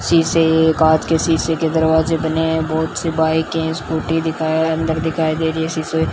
शीशे ये कांच के शीशे के दरवाजे बने हैं बहुत से बाइक है स्कूटी दिखाएं अंदर दिखाई दे रही है शीशे --